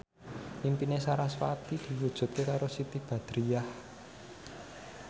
impine sarasvati diwujudke karo Siti Badriah